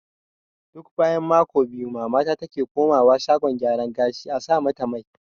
Duk bayan mako biyu mamana take komawa shagon gyara gashi a sa mata mai